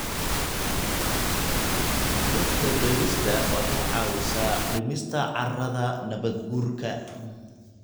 Dhirta beerista waxay caawisaa dhimista carrada nabaadguurka.